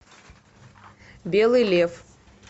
белый лев